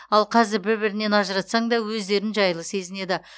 ал қазір бір бірінен ажыратсаң да өздерін жайлы сезінеді